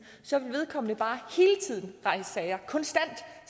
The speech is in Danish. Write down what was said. så vil vedkommende bare hele tiden rejse sager konstant